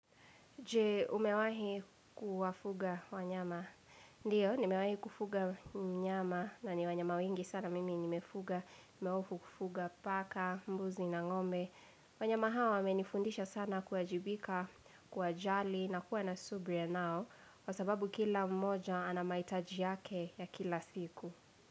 Je umewahi kuwafuga wanyama. Ndio, nimewahi kufuga mnyama na ni wanyama wengi sana mimi nimefuga, nimeofu kufuga paka, mbuzi na ngombe. Wanyama hawa wamenifundisha sana kuwajibika, kuwajali na kuwa na subira nao, kwa sababu kila mmoja anamahitaji yake ya kila siku.